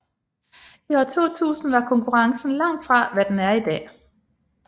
I år 2000 var konkurrencen langt fra hvad den er i dag